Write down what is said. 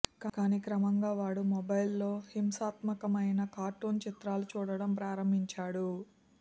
కానీ క్రమంగా వాడు మొబైల్లో హింసాత్మకమైన కార్టూన్ చిత్రాలు చూడడం ప్రారంభించాడు